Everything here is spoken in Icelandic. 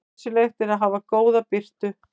Nauðsynlegt er að hafa góða birtu.